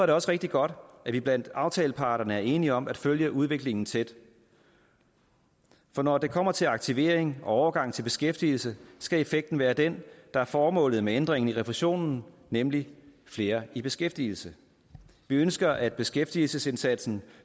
det også rigtig godt at vi blandt aftaleparterne er enige om at følge udviklingen tæt for når det kommer til aktivering og overgang til beskæftigelse skal effekten være den der er formålet med ændringen af refusionen nemlig flere i beskæftigelse vi ønsker at beskæftigelsesindsatsen